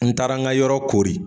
N taara ŋa yɔrɔ kori